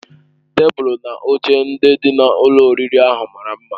Tebụl na oche ndị dị na ụlọ oriri ahụ mara mma.